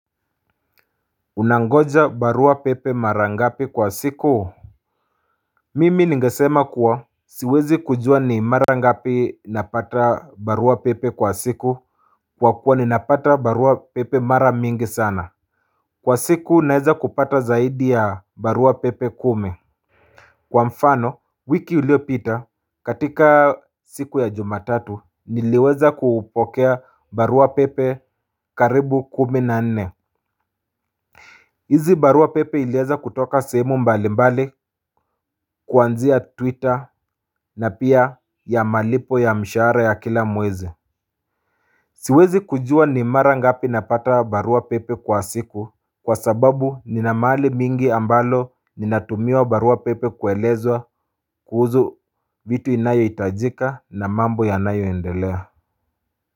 Unangoja barua pepe mara ngapi kwa siku Mimi ningesema kuwa siwezi kujua ni mara ngapi napata barua pepe kwa siku kwa kuwa ninapata barua pepe mara mingi sana Kwa siku naeza kupata zaidi ya barua pepe kumi Kwa mfano wiki iliyopita katika siku ya jumatatu niliweza kupokea barua pepe karibu kumi na nne hizi barua pepe iliweza kutoka sehemu mbali mbali kuanzia twitter na pia ya malipo ya mshahara ya kila mwezi Siwezi kujua ni mara ngapi napata barua pepe kwa siku kwa sababu nina mahali mingi ambalo ninatumia barua pepe kuelezwa kuhusu vitu inayohitajika na mambo yanayoendelea.